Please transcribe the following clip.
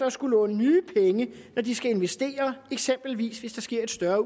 at skulle låne nye penge når de skal investere eksempelvis hvis der sker et større